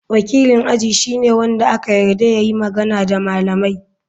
Wakilin aji shine wanda aka yarda ya yi magana da malamai.